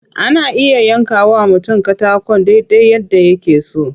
Ana iya yanka wa mutum katakon dai dai yadda yake so.